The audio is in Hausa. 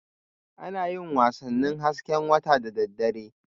Ana yin wasannin hasken wata da daddare